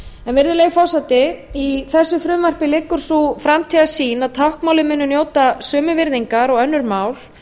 virðulegi forseti í þessu frumvarpi liggur sú framtíðarsýn að að táknmálið muni njóta sömu virðingar og önnur mál